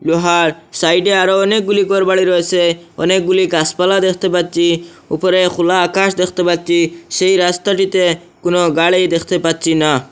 লোহার সাইডে আরও অনেকগুলি ঘরবাড়ি রয়েসে অনেকগুলি গাসপালা দেখতে পাচ্চি উপরে খুলা আকাশ দেখতে পাচ্চি সেই রাস্তাটিতে কোনো গাড়ি দেখতে পাচ্চি না।